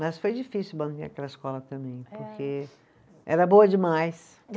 Mas foi difícil manter aquela escola também, porque era boa demais.